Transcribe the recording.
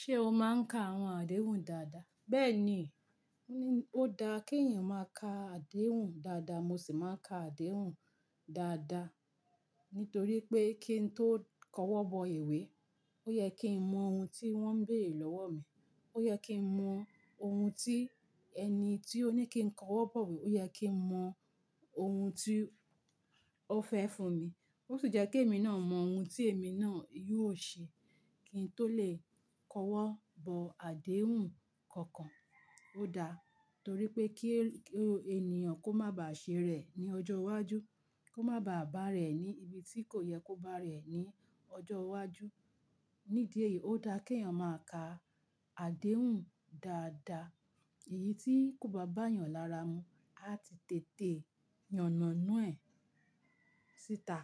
Ṣé o máa ń ka àwọn àdéhùn dáadáa? Bẹ́ẹ̀ni, ó da kí èèyàn máa ka àdéhùn dáadáa. Mo sì máa ń ka àdéhùn dáadáa nítorí pé kí n tó kọ́wọ́ bọ iwé, ó yẹ kí n mọ ohun tí wọ́n ń béèrè lọ́wọ́ mi, ó yẹ kí n mọ ohun tí ẹni tí ó ní kí n kọ́wọ́ bọ̀wé ó yẹ kí n mọ ohun tí ó fẹ́ fún mi. Ó sì jẹ́ kí èmi náà mọ ohun tí èmi náà yóò ṣe kí n tó lè kọ́wọ́ bọ àdéhùn kankan. Ó da torí pé kí ènìyàn kó má ba à ṣe ara re ní ọjọ́ iwájú, kó má ba à bá rẹ̀ ní ibi tí kò yẹ kó bá rẹ̀ ní ọjọ́ iwájú. Nídìí èyí ó da kí èèyàn máa ka àdéhùn dáadáa. Èyí tí kò bá bá èèyàn lára mu, a ti tètè yànàná ẹ̀ síta,